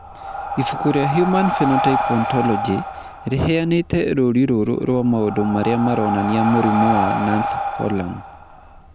Ibuku rĩa Human Phenotype Ontology rĩheanĩte rũũri rũrũ rwa maũndũ marĩa maronania mũrimũ wa Nance Horan.